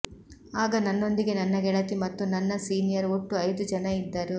ಆಗ ನನ್ನೊಂದಿಗೆ ನನ್ನ ಗೆಳತಿ ಮತ್ತು ನನ್ನ ಸೀನಿಯರ್ ಒಟ್ಟು ಐದು ಜನ ಇದ್ದರು